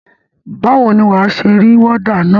Báwo ni wà á ṣe rí wọ́dà na?